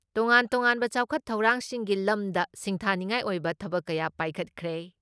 ꯇꯣꯉꯥꯟ ꯇꯣꯉꯥꯟꯕ ꯆꯥꯎꯈꯠ ꯊꯧꯔꯥꯡꯁꯤꯡꯒꯤ ꯂꯝꯗ ꯁꯤꯡꯊꯥꯅꯤꯉꯥꯏ ꯑꯣꯏꯕ ꯊꯕꯛ ꯀꯌꯥ ꯄꯥꯏꯈꯠꯈ꯭ꯔꯦ ꯫